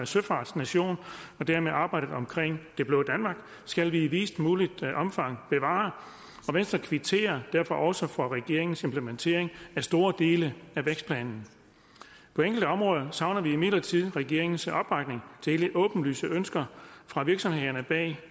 søfartsnation og dermed arbejdet omkring det blå danmark skal vi i videst muligt omfang bevare venstre kvitterer derfor også for regeringens implementering af store dele af vækstplanen på enkelte områder savner vi imidlertid regeringens opbakning til de åbenlyse ønsker fra virksomhederne bag